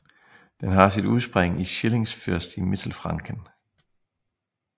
Den har sit udspring i Schillingsfürst i Mittelfranken